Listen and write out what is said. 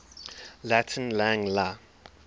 latin lang la